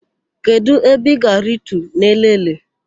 Kedụ ebe ị ga-aritu n'Elele?